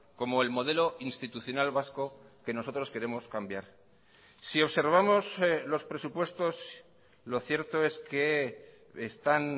como el modelo institucional vasco que nosotros queremos cambiar si observamos los presupuestos lo cierto es que están